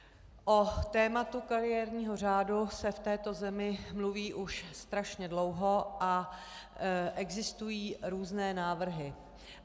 O tématu kariérního řádu se v této zemi mluví už strašně dlouho a existují různé návrhy.